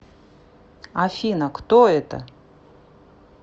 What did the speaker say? афина кто это